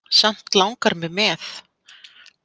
Samt langar mig með.